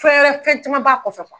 Fɛn wɛrɛ fɛn caman b'a kɔfɛ.